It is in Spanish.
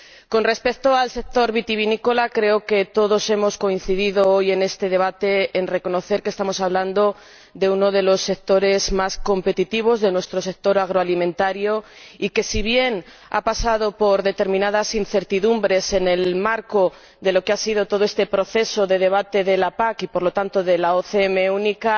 Con respecto al sector vitivinícola, creo que todos hemos coincidido hoy, en este debate, en reconocer que estamos hablando de uno de los sectores más competitivos de nuestra industria agroalimentaria y que, si bien ha pasado por determinadas incertidumbres en el marco de todo este proceso de debate de la PAC y, por lo tanto, de la OCM única,